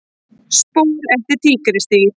Spor eftir tígrisdýr.